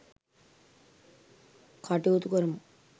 කටයුතු කරමු .